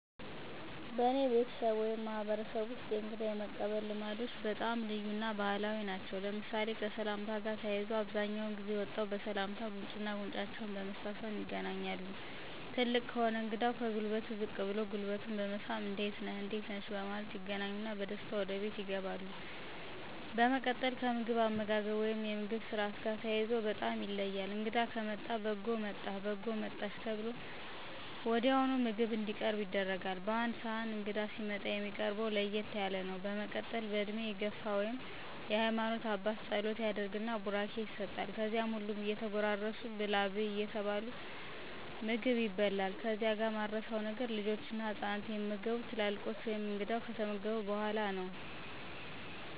በአኔ ቤተስብ ወይም ማህበረሰብ ወስጥ የእንግዳ የመቀበል ልማዶች በጣም ልዩ እና ባህላዊ ናቸው ለምሳሌ፦ ከሰላምታ ጋር ተያይዞ አብዛኛውን ጊዜ ወጠው በሰላምታ ጉንጩና ጉንጫቸውን በመሳሳም ይገናኛሉ ትልቅ ከሆነ እንግዳው ከጉልበቱ ዝቅ ብሎ ጉልበቱን በመሳም እንዴት ነህ/ነሽ በማለት ይገናኙና በደስታ ወደ ቤት ይገባሉ። በመቀጥል ከምግብ አመጋገብ ወይም የምግብ ስርአት ጋር ተያይዞ በጣም ይለያል እንግዳ ከመጣ በጎ መጣህ/መጣሽ ተብሎ ወዲያውኑ ምግብ እንዲቀርብ ይደረጋል በአንድ ስህን እንግዳ ሲመጣ የሚቀርብው ለየት ያለ ነው በመቀጠል በእድሜ የግፍ ወይም የሃማኖት አባት ፀሎት ያደረግን ቡራኬ ይሰጥል ከዚያም ሁሉም እየተጎራረሱ ብላ/ብይ እየተባለ ምግቡ ይበላል ከዚህ ጋር ማረሳው ነገር ልጆችና ህፃናት የሚመገቡት ትላልቆች / እንግዳው ከተመገቡ በኋላ ነው በአጠቃላይ ደስ ስርአት ነው።